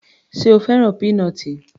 Sé o fẹ́ràn peanut l?